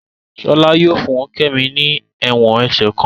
Shola yóò fún kemi ní èwòn ẹsẹ kán